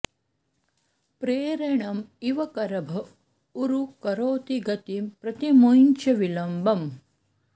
प्रेरणम् इव करभ ऊरु करोति गतिम् प्रति मुंच विलम्बम्